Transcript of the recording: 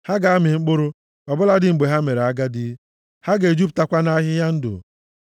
Ha ga-amị mkpụrụ, ọ bụladị mgbe ha mere agadi. Ha ga-ejupụtakwa nʼahịhịa ndụ,